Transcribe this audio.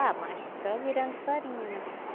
Ah, mas só virando farinha, né?